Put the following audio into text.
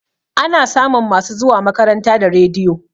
Ana samun masu zuwa makaranta da rediyo